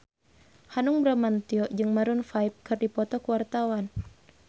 Hanung Bramantyo jeung Maroon 5 keur dipoto ku wartawan